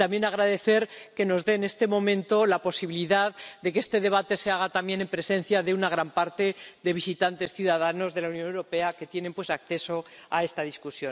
Deseo también agradecer que nos den, en este momento, la posibilidad de que este debate se celebre en presencia de una gran parte de visitantes, ciudadanos de la Unión Europea que tienen acceso a este debate.